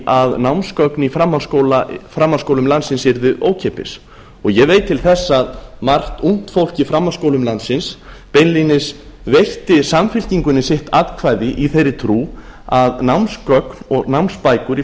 að námsgögn í framhaldsskólum landsins yrðu ókeypis ég veit til þess að mjög margt ungt fólk í framhaldsskólum landsins beinlínis veitti samfylkingunni eitt atkvæði í þeirri trú að námsgögn og námsbækur í